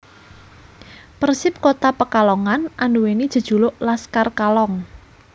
Persip Kota Pekalongan andhuweni jejuluk Laskar Kalong